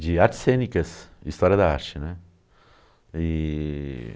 de artes cênicas e história da arte, né. E...